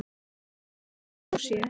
Það er einmitt í anda Lúsíu.